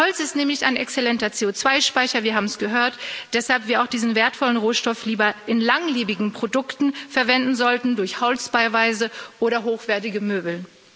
Holz ist nämlich ein exzellenter CO2 Speicher wir haben es gehört weshalb wir auch diesen wertvollen Rohstoff lieber in langlebigen Produkten verwenden sollten, durch Holzbauweise oder hochwertige Möbel.